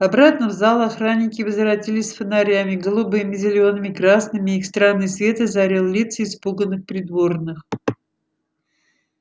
обратно в зал охранники возвратились с фонарями голубыми зелёными красными и их странный свет озарил лица испуганных придворных